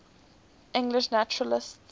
english naturalists